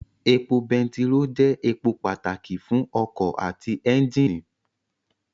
Epo bẹntiró jẹ́ èpò pàtàkì fún ọkọ̀ àti ẹ́njìnì